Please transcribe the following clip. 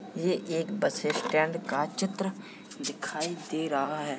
ये एक bus stand का चित्र दिखाई दे रहा है।